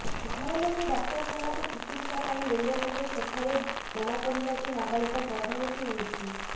ଘର ଲୋକେ ଡାକ୍ତରଖାନାକୁ ଚିକିତ୍ସା ପାଇଁ ନେଲେ ହେଲେ ସେଠାରେ ଜଣାପଡିଲା ଯେ ନାବାଳିକା ଗର୍ଭବତୀ ହୋଇଛି